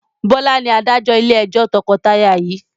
Bọlá ni Adájọ́ ilé ẹjọ́ tọkọtaya yii